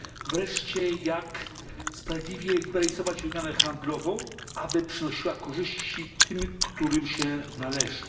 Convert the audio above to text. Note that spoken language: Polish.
Wreszcie jak sprawiedliwie liberalizować wymianę handlową, aby przynosiła korzyści tym, którym się należy?